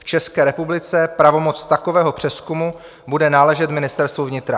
V České republice pravomoc takového přezkumu bude náležet Ministerstvu vnitra.